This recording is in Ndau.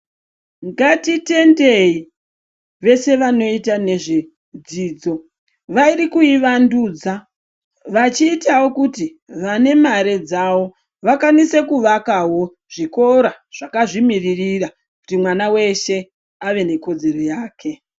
Ngatitendei veshe vanoita nezvedzidzo vari kuivandudza vachiitavo kuti vane mare dzavo vakwanise kuvakavo zvikora, zvakazvimiririra kuti mwana veshe ave nekodzero yake.